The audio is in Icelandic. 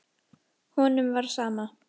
Honum var sama.